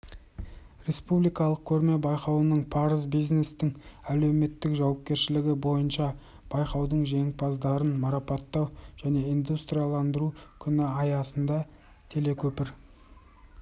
республикалық көрме-байқауының парыз бизнестің әлеуметтік жауапкершілігі бойынша байқаудың жеңімпаздарын марапаттау және индустрияландыру күні аясында телекөпір